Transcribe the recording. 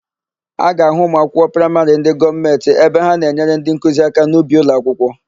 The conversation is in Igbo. A ga-ahụ ụmụakwụkwọ praịmarị ndị gọọmentị ebe ha na-enyere ndịnkuzi aka n'ubi ụlọakwụkwọ.